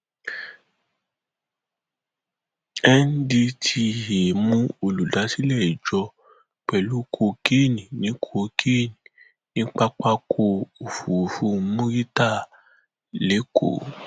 ndtea mú olùdásílẹ ìjọ pẹlú kokéènì ní kokéènì ní pápákọ òfurufú murità lẹkọọ